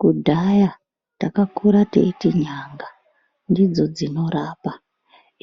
Kudhaya takakure teiti nyanga ndidzo dzinorapa